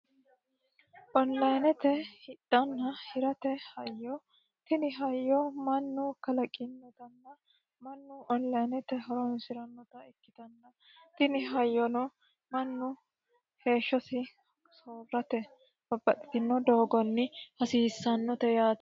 Onlinete hidhana hirate hayyo. Tini hayyo mannu heeshshi woyeessate babbaxitino doogonni hasiissanote yaate.